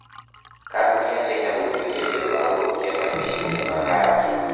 Kambuni ya China gũtuĩrũo nĩũndũ wa gũthũkia marigicĩria ma Gambia.